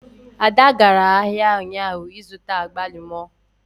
Ada gara ahịa ụnyaahụ ịzụta agbalumo